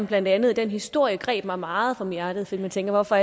blandt andet den historie som greb mig meget om hjertet for jeg tænkte hvorfor